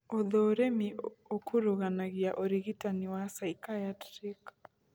ũthũrimi ũkuruganagia ũrigitani wa psychiatric